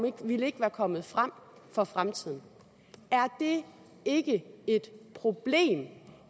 ikke ville ikke være kommet frem for fremtiden er det ikke et problem